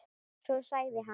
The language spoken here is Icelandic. Svo sagði hann.